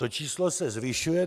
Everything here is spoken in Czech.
To číslo se zvyšuje.